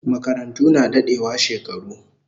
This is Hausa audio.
Makarantu na dadewa shekaru